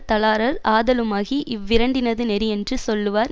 தளரார் ஆதலுமாகிய இவ்விரண்டினது நெறியென்று சொல்லுவார்